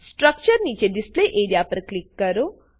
structure નીચે display A R E A પર click કરો